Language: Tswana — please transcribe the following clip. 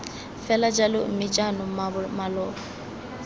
fela jalo mme jaanong maloba